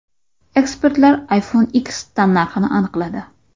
Ekspertlar iPhone X tannarxini aniqladi.